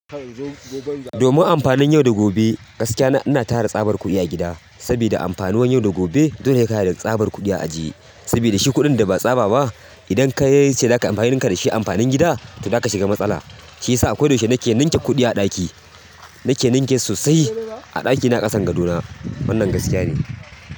Domin amfanin yau da gobe, gaskiya na ina tara tsabar kuɗi a gida, saboda amfanin yau da gobe, dole sai ka haɗa da tsabar kuɗi a ajiye. Saboda shi kuɗin da ba tsaba ba, idan ka yi ce za ka amfanin ka da shi amfanin gida, to za ka shiga matsala. Shi ya sa koyaushe na ke ninke kuɗi a ɗaki. Na ke ninke sosai a ɗakina a ƙasan gadona. Wannan gaskiya ne.